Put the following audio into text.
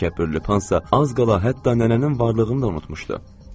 Təkəbbürlü Pan isə az qala hətta nənənin varlığını da unutmuşdu.